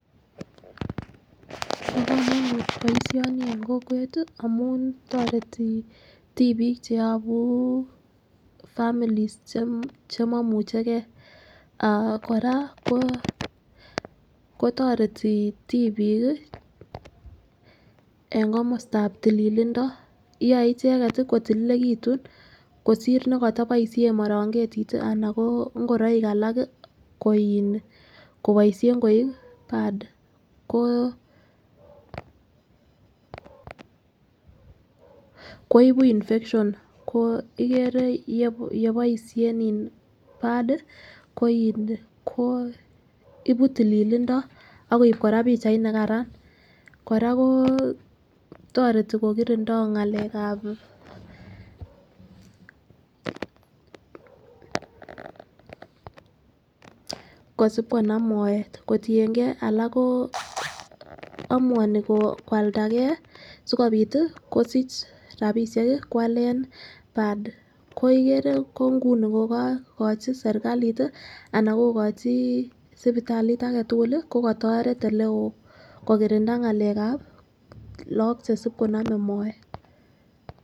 bo komonut boishoni en kokwet tii amun toreti tipik cheyobu families chemomuchegee aah Koraa ko toreti tipik kii en komostap tililindo yoe icheket tii kotililekitun kosir nekotoboishen morongetit anan ko ingoroik alak kii ko in koboishen koik bard ko koibun infection ko ikere ye yeboishen iin bard ko ibu tililindo ak koib Koraa pichait makaran. Koraa koo toreti kokirindoo ngalekab kosib konam moet kotiyengee alak koo omuoni kwaldagee sikopit kosich rabishek kii kwalen bard ko ikere ko nguni ko kokikochi sirkalit tii anan kokochi sipitalit agetukul lii ko kotoret oleo ko kirinda ngalekab lok chesib konome moet.